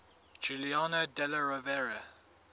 giuliano della rovere